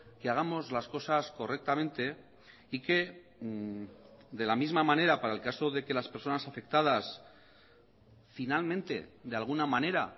que hagamos las cosas correctamente y que de la misma manera para el caso de que las personas afectadas finalmente de alguna manera